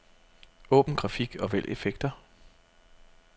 Åbn grafik og vælg effekter.